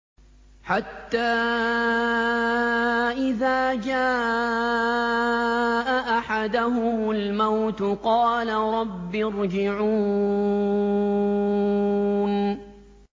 حَتَّىٰ إِذَا جَاءَ أَحَدَهُمُ الْمَوْتُ قَالَ رَبِّ ارْجِعُونِ